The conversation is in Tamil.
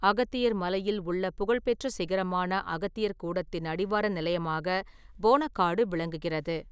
அகத்தியர் மலையில் உள்ள புகழ்பெற்ற சிகரமான அகத்தியர்கூடத்தின் அடிவார நிலையமாக போனக்காடு விளங்குகிறது.